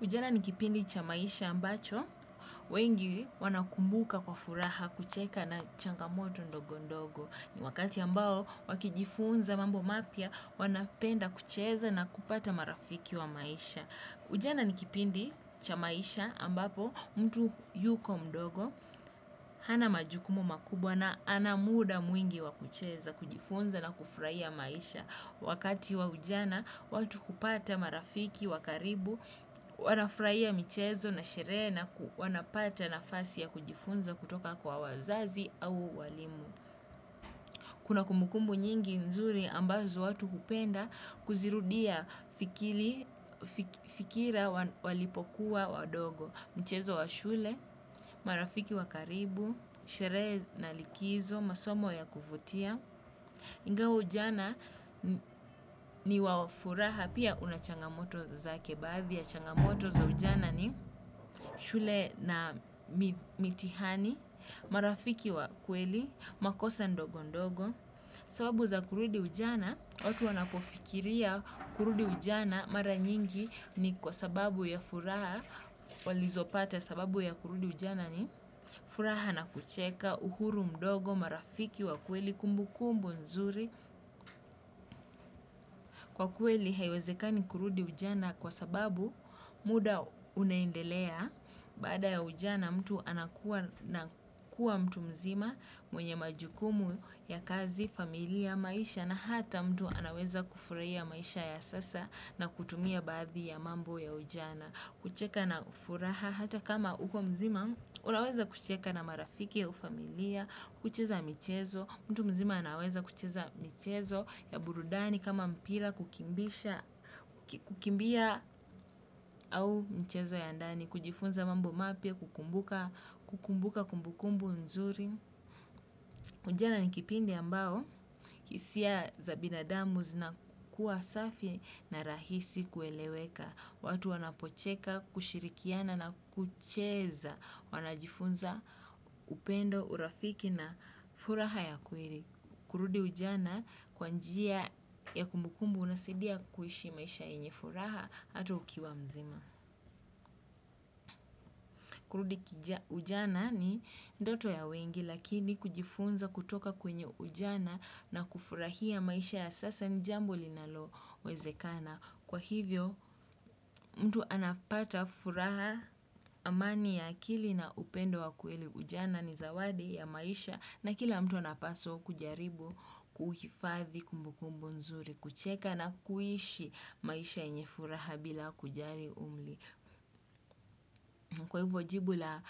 Ujana nikipindi cha maisha ambacho wengi wana kumbuka kwa furaha kucheka na changamoto ndogo ndogo. Ni wakati ambao wakijifunza mambo mapya wanapenda kucheza na kupata marafiki wa maisha. Ujana nikipindi cha maisha ambapo mtu yuko mdogo hana majukumu makubwa na ana muda mwingi wakucheza kujifunza na kufraia maisha. Wakati wa ujana, watu hupata marafiki, wakaribu, wanafraia michezo na sherehe na wanapata na fasi ya kujifunza kutoka kwa wazazi au walimu. Kuna kumukumbu nyingi nzuri ambazo watu hupenda kuzirudia fikira walipokuwa wadogo. Mchezo wa shule, marafiki wakaribu, sherehe na likizo, masomo ya kuvutia. Ingawa ujana ni wafuraha pia unachangamoto zake baadhi ya changamoto za ujana ni shule na mitihani, marafiki wa kweli, makosa ndogo ndogo. Sababu za kurudi ujana, watu wanapofikiria kurudi ujana mara nyingi ni kwa sababu ya furaha walizo pata sababu ya kurudi ujana ni furaha na kucheka uhuru mdogo, marafiki wa kweli, kumbu kumbu nzuri. Kwa kwe li haiwezekani kurudi ujana kwa sababu muda unaendelea baada ya ujana mtu anakuwa mtu mzima mwenye majukumu ya kazi, familia, maisha na hata mtu anaweza kufurahia maisha ya sasa na kutumia badhi ya mambo ya ujana. Kucheka na furaha hata kama uko mzima, unaweza kucheka na marafiki au familia, kucheza mchezo, mtu mzima anaweza kucheza michezo ya burudani kama mpila kukimbisha, kukimbia au mchezo ya ndani, kujifunza mambo mapya, kukumbuka kumbukumbu nzuri. Ujana ni kipindi ambao, hisiya za binadamu zina kuwa safi na rahisi kueleweka. Watu wanapocheka, kushirikiana na kucheza, wanajifunza upendo, urafiki na furaha ya kweri. Kurudi ujana kwanjia ya kumbukumbu unasidia kuishi maisha yenye furaha ata ukiwa mzima. Kurudi ujana ni ndoto ya wengi lakini kujifunza kutoka kwenye ujana na kufurahia maisha ya sasa jambo linalo wezekana. Kwa hivyo mtu anapata furaha amani ya akili na upendo wa kweli ujana ni zawadi ya maisha na kila mtu anapaswa kujaribu kuhifathi kumbukumbu nzuri, kucheka na kuishi maisha inye furaha bila kujari umli. Kwa hivyo jibu la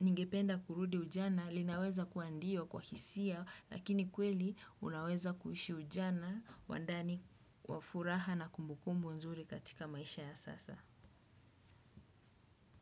ningependa kurudi ujana linaweza kuandio kwa hisia lakini kweli unaweza kuhishi ujana wandani wafuraha na kumbukumbu nzuri katika maisha ya sasa.